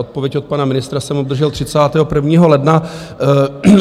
Odpověď od pana ministra jsem obdržel 31. ledna.